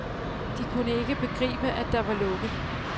De kunne ikke begribe, at der var lukket.